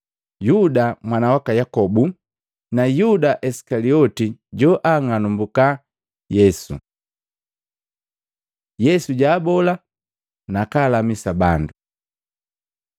Yuda mwana waka Yakobu na Yuda Isikaliote, joang'alumbuka Yesu. Yesu jubola nakalamisa bandu Matei 4:23-25